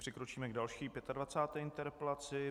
Přikročíme k další 25. interpelaci.